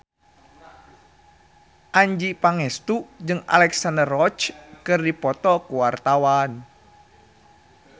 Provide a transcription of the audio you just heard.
Adjie Pangestu jeung Alexandra Roach keur dipoto ku wartawan